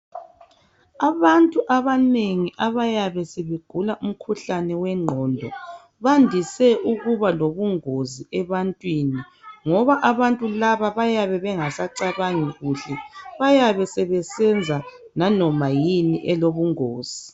Abantu abanengi abayabe sebegula umkhuhlane wenqongo bandise ukuba lokungozi ebantwini ngoba abantu laba bayabe bengasacabangi kuhle bayabe sebesebenza nanoma yini elokungozi